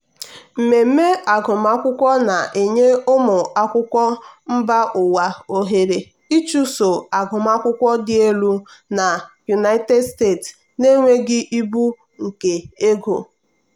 mmemme agụmakwụkwọ na-enye ụmụ akwụkwọ mba ụwa ohere ịchụso agụmakwụkwọ dị elu na united states na-enweghị ibu nke ego.